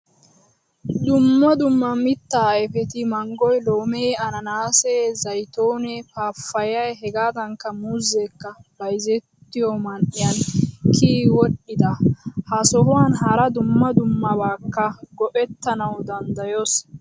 Dumma dumma mitta ayfeti manggoy, loomee, anannanase, zaytone, pappayay hegadankka muuzzekka bayzzettiyoman'iyan kiyi wodhdhida. Ha sohuwan hara dumma dummabakka go'ettanawu danddayoos.